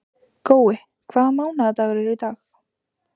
Gói, hvaða mánaðardagur er í dag?